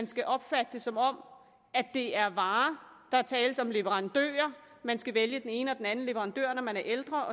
skal opfattes som om det er varer der tales om en leverandør man skal vælge den ene eller den anden leverandør når man er ældre